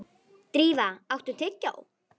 Drífa, áttu tyggjó?